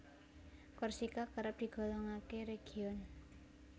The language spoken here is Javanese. Korsika kerep digolongké région